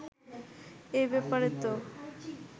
এই ব্যাপারে তো